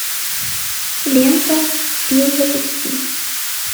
лента пил запусти